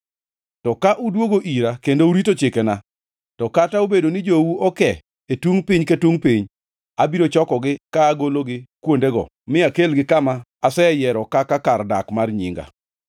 to ka udwogo ira kendo urito chikena, to kata obedo ni jou oke e tungʼ piny ka tungʼ piny, abiro chokogi ka agologi kuondego mi akelgi kama aseyiero kaka kar dak mar Nyinga.’